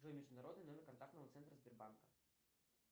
джой международный номер контактного центра сбербанка